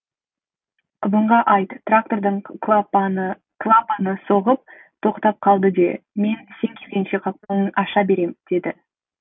ыбынға айт трактордың клапаны соғып тоқтап қалды де мен сен келгенше қақпағын аша берем деді